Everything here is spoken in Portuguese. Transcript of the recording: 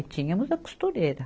E tínhamos a costureira.